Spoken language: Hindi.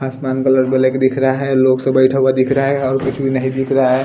आसमान कलर को लेके दिख रहा हैं लोग सब बैठे हुआ दिख रहा हैं और कुछ भी नहीं दिख रहा हैं ।